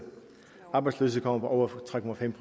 arbejdsløshed kommer på over tre procent